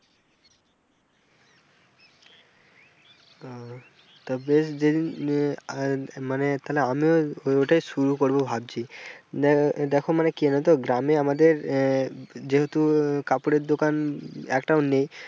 ও তা বেশ মানে তালে আমিও ওটাই শুরু করব ভাবছি দেখো মানে কি জানো তো গ্রামে আমাদের আহ যেহেতু কাপড়ের দোকান একটাও নেই।